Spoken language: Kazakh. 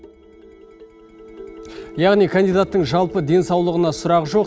яғни кандидаттың жалпы денсаулығына сұрақ жоқ